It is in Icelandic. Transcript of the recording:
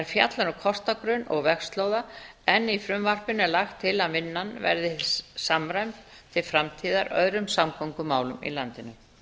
fjallar um kortagrunn og vegslóða en í frumvarpinu er lagt til að vinnan verði samræmd til framtíðar öðrum samgöngumálum í landinu